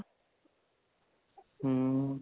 ਹਮ